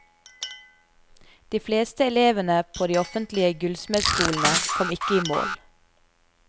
De fleste elevene på de offentlige gullsmedskolene kom ikke i mål.